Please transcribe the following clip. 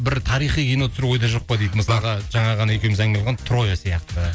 бір тарихи кино түсіру ойда жоқ па дейді мысалға жаңа ғана екеуміз әңгіме қылған троя сияқты